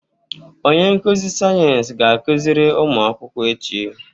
Onye nkuzi sayensị ga-akụziri ụmụ akwụkwọ echi.